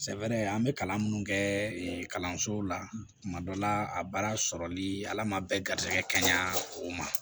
Sɛbɛn an bɛ kalan minnu kɛ kalansow la tuma dɔ la a baara sɔrɔli ala ma bɛn garizigɛ kaɲan o ma